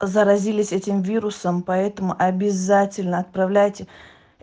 заразились этим вирусом поэтому обязательно отправляйте